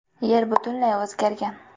Yer butunlay o‘zgargan.